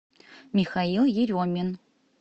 михаил еремин